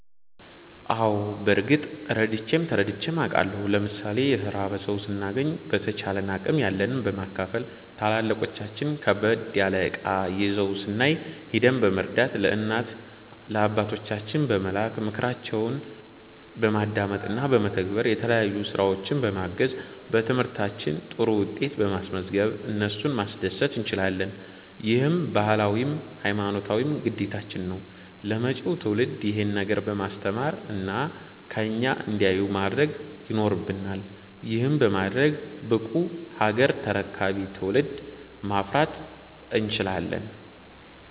አዎ በርግጥ ረድቼም ተረድቼም አቃለሁ። ለምሣሌ የተራበ ሠው ስናገኝ በተቻለን አቅም ያለንን በማካፈል፣ ታላላቆቻችን ከበድ ያለ እቃ ይዘው ስናይ ሂደን በመርዳት፣ ለእናት ለአባቶቻችን በመላክ፣ ምክራቸውን በማዳመጥ እና በመተግበር፣ የተለያዩ ስራዎች በማገዝ፣ በትምህርታችን ጥሩ ውጤት በማስዝገብ እነሱን ማስደሰት እንችላለን። ይህም ባህላዊም ሀይማኖታዊም ግዴታችን ነው። ለመጪው ትውልድ ይሄንን ነገር በማስተማር እና ከኛ እንዲያዩ ማድረግ ይኖረብናል። ይህንንም በማድረግ ብቁ ሀገር ተረካቢ ትውልድን ማፍራት እንችላለን።